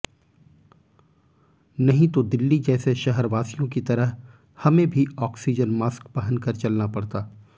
नहीं तो दिल्ली जैसे शहरवासियों की तरह हमें भी आक्सीजन मास्क पहन कर चलना पड़ता